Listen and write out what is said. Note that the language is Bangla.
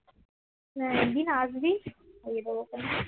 একদিন আসবি খাইয়ে দেবো